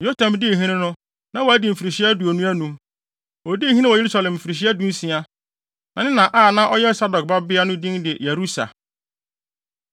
Yotam dii hene no, na wadi mfirihyia aduonu anum. Odii hene wɔ Yerusalem mfirihyia dunsia. Na ne na a ɔyɛ Sadok babea no din de Yerusa.